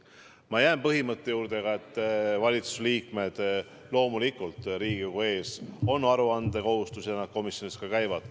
Samuti jään ma põhimõtte juurde, et loomulikult on valitsuse liikmetel Riigikogu ees aruandekohustus ja komisjonides nad ka käivad.